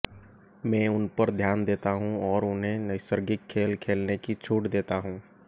मैं उन पर ध्यान देता हूं और उन्हें नैसर्गिक खेल खेलने की छूट देता हूं